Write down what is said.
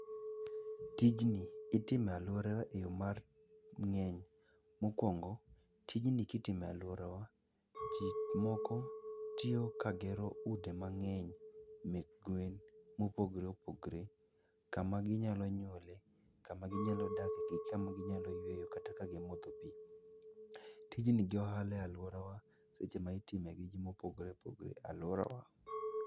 Tijni itimo e alworawa e yo mar, ng'eny. Mokwongo, tijni kitimo e alworawa, ji moko tiyo ka gero ute mang'eny mek gwen mopogore opogore kama ginyalo nyuole, kama ginyalo dakie, gi kama ginyalo yweyo kata ka gimodho pi. Tijni, jo ohala e alworawa, seche ma itime gi ji mopogore opogore e alworawa.